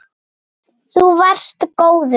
Þú varst góður.